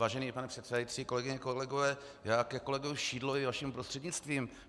Vážený pane předsedající, kolegyně, kolegové, já ke kolegu Šidlovi vaším prostřednictvím.